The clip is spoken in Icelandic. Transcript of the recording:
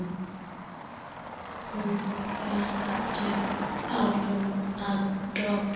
Hún heldur áfram að glápa.